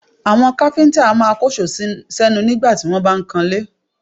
Àwọn káfíńtà a máa kóṣòó sẹ́nu nígbà tí wọ́n bá ń kanlé